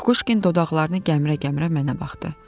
Kukuşkin dodaqlarını gəmirə-gəmirə mənə baxdı.